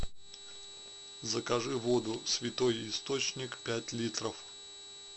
закажи воду святой источник пять литров